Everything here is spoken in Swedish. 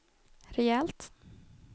rejält